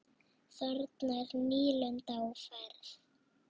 Þarna er nýlunda á ferð.